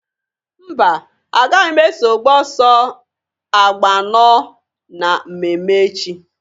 Mba! Agaghị m eso gbaa ọsọ agba anọọ na mmemme echi.